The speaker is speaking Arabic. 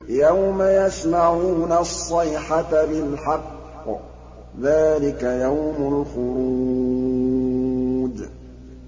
يَوْمَ يَسْمَعُونَ الصَّيْحَةَ بِالْحَقِّ ۚ ذَٰلِكَ يَوْمُ الْخُرُوجِ